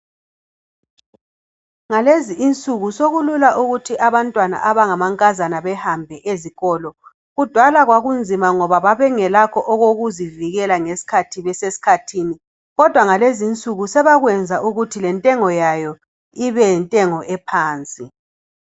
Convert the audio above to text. Ngalezi nsuku sokulula ukuthi abantwana abangamankazana behambe ezikolo. Kudala kwakunzima ngoba babengelakho okokuzivikela ngesikhathi besesikhathini kodwa ngalezi nsuku sebakwenza ukuthi lentengo yayo ibe yintengo ephansi.